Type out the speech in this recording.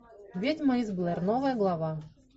ведьма из блэр новая глава